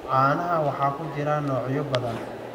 Caanaha waxaa ku jira noocyo badan.